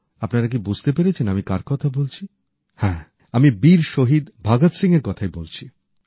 আপনারা কি বুঝতে পেরেছেন আমি কার কথা বলছি হ্যাঁ আমি বীর শহীদ ভগৎ সিংএর কথাই বলছি